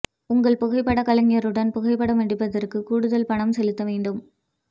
உங்கள் புகைப்படக் கலைஞருடன் புகைப்படம் எடுப்பதற்கு கூடுதல் பணம் செலுத்த வேண்டும்